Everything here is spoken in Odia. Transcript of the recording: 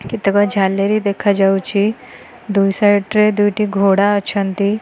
କେତୋଟି ଝାଲେରି ଦେଖାଯାଉଛି ଦୁଇ ସାଇଡି ରେ ଦୁଇଟି ଘୋଡା ଅଛନ୍ତି।